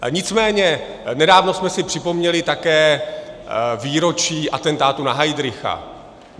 Nicméně nedávno jsme si připomněli také výročí atentátu na Heydricha.